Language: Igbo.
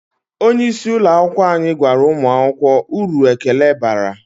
Onye isi ụlọ akwụkwọ anyị gwara ụmụ akwụkwọ uru ekele bara.